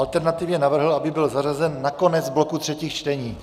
Alternativně navrhl, aby byl zařazen na konec bloku třetích čtení.